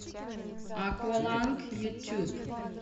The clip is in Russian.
акваланг ютюб